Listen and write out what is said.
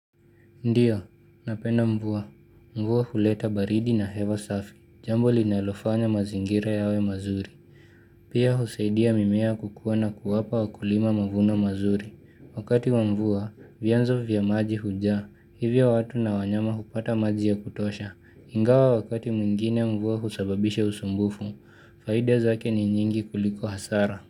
Ndiyo, napenda mvua. Mvua huleta baridi na hewa safi. Jambo linalofanya mazingira yawe mazuri. Pia husaidia mimea kukuwa na kuwapa wakulima mavuno mazuri. Wakati wa mvua, vyanzo vya maji hujaa. Hivyo watu na wanyama hupata maji ya kutosha. Ingawa wakati mwingine mvua husababisha usumbufu. Faida zake ni nyingi kuliko hasara.